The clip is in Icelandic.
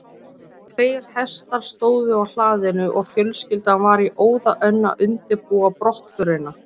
Tveir hestar stóðu á hlaðinu og fjölskyldan var í óða önn að undirbúa brottförina.